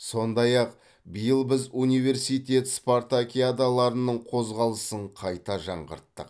сондай ақ биыл біз университет спартакиадаларының қозғалысын қайта жаңғырттық